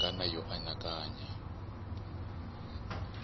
ya timhaka na yo anakanya